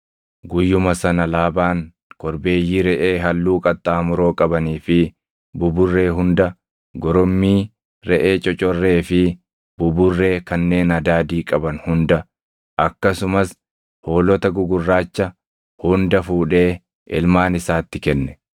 Guyyuma sana Laabaan korbeeyyii reʼee halluu qaxxaamuroo qabanii fi buburree hunda, goromii reʼee cocorree fi buburree kanneen adaadii qaban hunda, akkasumas hoolota gugurraacha hunda fuudhee ilmaan isaatti kenne.